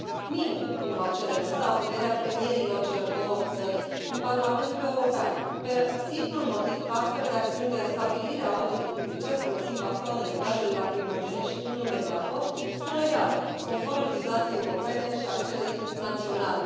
Nimeni nu va cere însă audierea premierilor celor două țări în Parlamentul European pe simplul motiv că astfel de acțiuni de restabilire a ordinii publice folosind bastoanele, gazele lacrimogene și tunurile de apă sunt legale, conform legislației europene și a celei naționale.